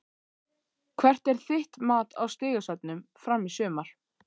Hvert er þitt mat á stigasöfnun Fram í sumar?